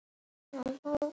Áttu erindi við hann?